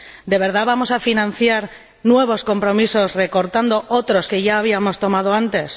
¿De verdad vamos a financiar nuevos compromisos, recortando otros que ya habíamos asumido antes?